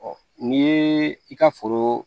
n'i ye i ka foro